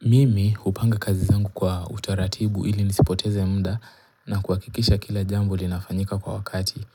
Mimi hupanga kazi zangu kwa utaratibu ili nisipoteze mda na kuhakikisha kila jambo linafanyika kwa wakati.